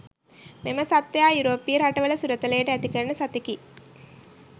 මෙම සත්ත්වයා යුරෝපීය රටවල සුරතලයට ඇතිකරන සතෙකි